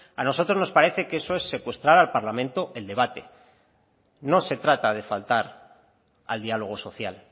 a nosotros nos parece que eso es secuestrar al parlamento el debate no se trata de faltar al diálogo social